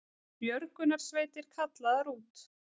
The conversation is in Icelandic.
Björgunarsveitir kallaðar út